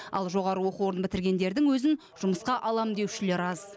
ал жоғарғы оқу орнын бітіргендердің өзін жұмысқа алам деушілер аз